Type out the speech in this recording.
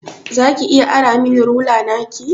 Za ki iya ara min rula naki?